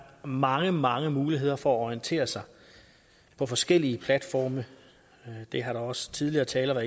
mange mange muligheder for at orientere sig på forskellige platforme det har også tidligere talere